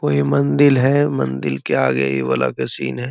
कोई मंदील है मंदील के आगे इ वाला के सीन है |